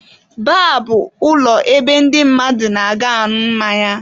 Baar bụ ụlọ ebe ndị mmadụ na-aga añụ mmanya.